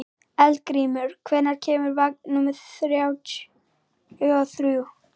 Eldgrímur, hvenær kemur vagn númer þrjátíu og þrjú?